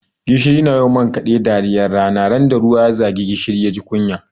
Gishiri na yi wa man kaɗe dariyar rana, ran da ruwa ya za gishiri ya ji kunya.